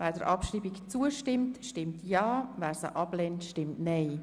Wer der Abschreibung zustimmt, stimmt Ja, wer sie ablehnt, stimmt Nein.